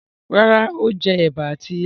Rárá, Ó jẹ ẹ̀bà àti ilá.